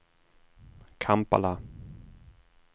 Kampala